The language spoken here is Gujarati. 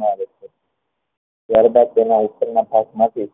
માં આવે છે ત્યાર બાદ તેના ઉપર ના ભાગ માં થી